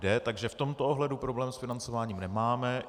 Takže v tomto ohledu problém s financováním nemáme.